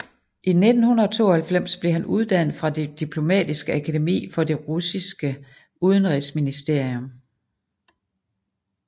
I 1992 blev han uddannet fra det Diplomatiske akademi for det russiske udenrigsministerium